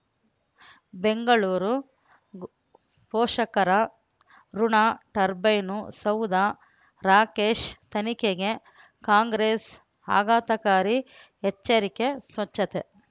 ಬೆಂಗಳೂರು ಪೋಷಕರಋಣ ಟರ್ಬೈನು ಸೌಧ ರಾಕೇಶ್ ತನಿಖೆಗೆ ಕಾಂಗ್ರೆಸ್ ಆಘಾತಕಾರಿ ಎಚ್ಚರಿಕೆ ಸ್ವಚ್ಛತೆ